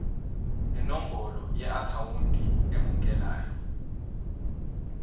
nenombolo yeakhawunti emukelayo